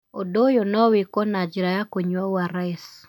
Ũndũ ũyũ no wĩkwo na njĩra ya kũnyua ORS